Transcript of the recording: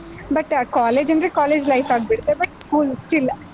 But ಆ college ಅಂದ್ರೆ college life ಆಗ್ಬಿಡ್ತು, but school still .